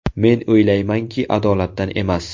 Men o‘ylaymanki, adolatdan emas.